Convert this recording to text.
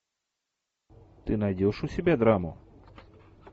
ты найдешь у себя драму